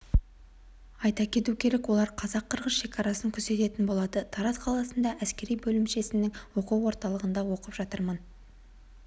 айта кету керек олар қазақ-қырғыз шекарасын күзететін болады тараз қаласында әскери бөлімшесінің оқу орталығында оқып жатырмын